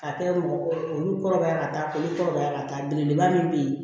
Ka kɛ mɔgɔ olu kɔrɔbaya ka taa olu kɔrɔbaya ka taa belebeleba min be yen